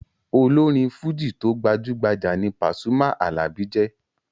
Olórin fújì tó gbajú-gbajà ní Pasuma Alabi jẹ́.